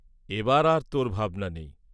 এবার আর তোর ভাবনা নেই।